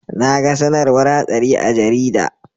Naga sAnarwar hatsari a jarida